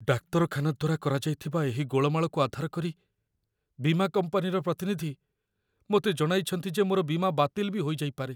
ଡାକ୍ତରଖାନା ଦ୍ୱାରା କରାଯାଇଥିବା ଏହି ଗୋଳମାଳକୁ ଆଧାର କରି ବୀମା କମ୍ପାନୀର ପ୍ରତିନିଧି ମୋତେ ଜଣାଇଛନ୍ତି ଯେ ମୋର ବୀମା ବାତିଲ ବି ହୋଇଯାଇପାରେ!